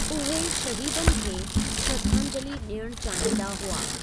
उहे शहीदनि खे श्रद्धांजलि डि॒यणु चाहींदा हुआ।